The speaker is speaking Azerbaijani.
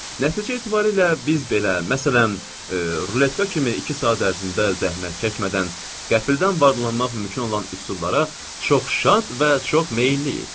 Nəticə etibarilə biz belə, məsələn, ruletka kimi iki saat ərzində zəhmət çəkmədən qəfildən varlılanmaq mümkün olan üsullara çox şad və çox meylliyik.